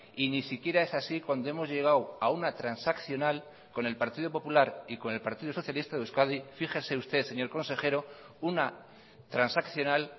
y ni siquiera es así cuando hemos llegado a una transaccional con el partido popular y con el partido socialista de euskadi fíjese usted señor consejero una transaccional